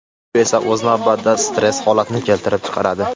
Bu esa o‘z navbatida stress holatini keltirib chiqaradi.